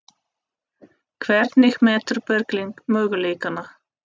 Hvernig metur Berglind möguleikana?